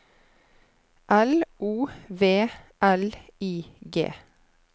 L O V L I G